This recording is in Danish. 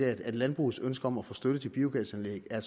af at landbrugets ønske om at få støtte til biogasanlæg er